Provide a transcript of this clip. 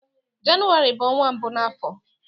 Jenụwarị bụ ọnwa mbụ na afọ